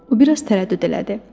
O biraz tərəddüd elədi.